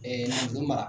mara